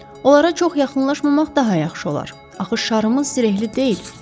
Onlara çox yaxınlaşmamaq daha yaxşı olar, axı şarımız zirehli deyil.